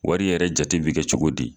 Wari yɛrɛ jate bɛ kɛ cogo di.